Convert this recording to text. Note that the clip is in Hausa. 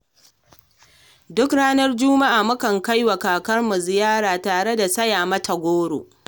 Duk ranar juma'a mu kan kai wa kakarmu ziyara tare da saya mata goro.